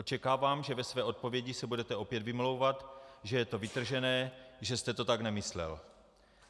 Očekávám, že ve své odpovědi se budete opět vymlouvat, že je to vytržené, že jste to tak nemyslel.